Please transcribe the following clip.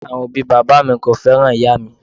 Awọn obi baba mi ko fẹran iya mi.